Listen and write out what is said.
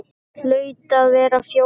Hlaut að vera Fjóla.